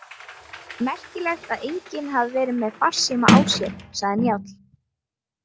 Merkilegt að enginn hafi verið með farsíma á sér, sagði Njáll.